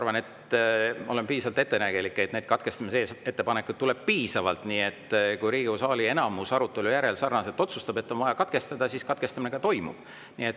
Ma küllap olen üsna ettenägelik, kui arvan, et neid katkestamise ettepanekuid tuleb piisavalt, ja kui Riigikogu saali enamus arutelu järel otsustab, et on vaja katkestada, siis katkestamine ka toimub.